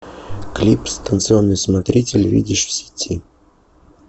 клип станционный смотритель видишь в сети